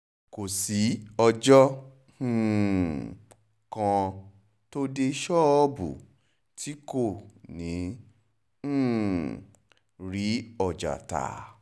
kò sí ọjọ́ um kan tó dé ṣọ́ọ̀bù tí kò ní um í rí ọjà tà